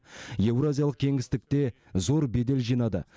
еуразиялық кеңістікте зор бедел жинады